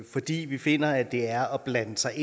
fordi vi finder at det er at blande sig